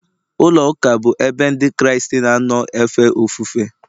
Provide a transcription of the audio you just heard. ụlọụka bụ ebe Ndị Kraịst na-anọ efe ofufe.